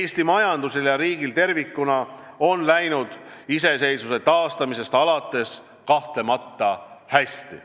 Eesti majandusel ja riigil tervikuna on läinud iseseisvuse taastamisest alates kahtlemata hästi.